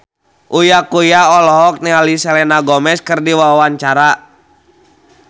Uya Kuya olohok ningali Selena Gomez keur diwawancara